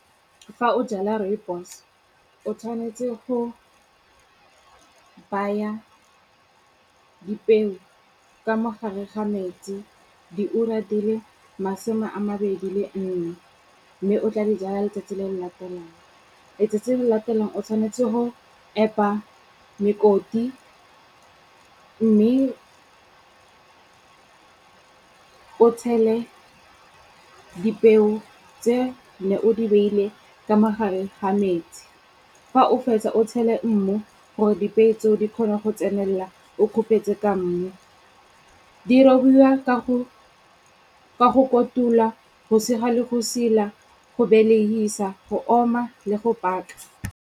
Fa o jala rooibos-o o tshwanetse go baya dipeo ka mogare ga metsi diura di le masome a mabedi le nne. Mme o tla dijala letsatsi le le latelang. Letsatsi le le latelang o tshwanetse ho epa mekoti mme o tshele dipeo tse ne o di beile ka mogare ga metsi. Fa o fetsa o tshele mmu gore dipeo tseo di kgone go tsenelela o kgopetse ka mmu. Di robiwa ka go kotula, go sega le go sila, go belehisa, go oma le go paka.